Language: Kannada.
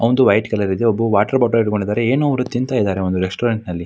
ಅವಂದು ವೈಟ್ ಕಲರ್ ಇದೆ ಒಬ್ಬ ವಾಟರ್ ಬಾಟಲಿ ಹಿಡ್ಕೊಂಡಿದ್ದಾದ್ರೆ ಏನೋ ಒಂದ್ ತಿಂತಾ ಇದ್ದಾರೆ ರೆಸ್ಟೋರೆಂಟ್ ನಲ್ಲಿ.